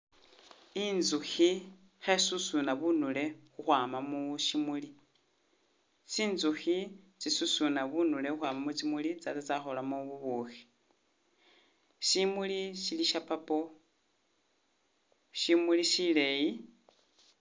Inzukhi khe susuna bunule ukhwama mu shimuli, tsinzukhi tsi susuna bunule ukhwama mushimuli tsatsya tsya kholamo ubushi, shimuli shili sha purple, shimuli shili shileyi.